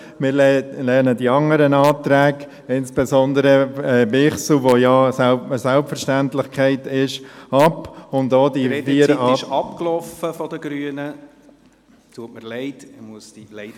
Wir lehnen die anderen Anträge, insbesondere den Antrag Bichsel, der ja eine Selbstverständlichkeit ist, ab, und auch ...